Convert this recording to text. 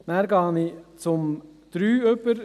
Ich gehe zur Planungserklärung 3 über.